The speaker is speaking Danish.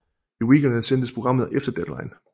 I weekenderne sendtes programmet Efter Deadline